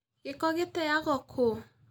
Gĩko gĩtenyagwo kũ?